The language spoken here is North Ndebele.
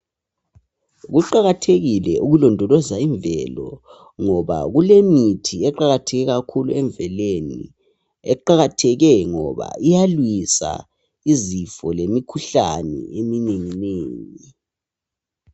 Kuqakathekile ukulondoloza imvelo ngoba kulemithi eqakatheke kakhulu emvelweni eqakatheke ngoba iyalwisa izifo lemikhihlane eminenginengi.